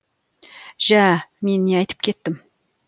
жә мен не айтып кеттім